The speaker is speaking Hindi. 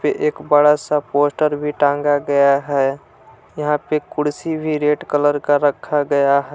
ए एक बड़ा सा पोस्टर भी टांगा गया है यहां पे कुर्सी भी रेड कलर का रखा गया ह--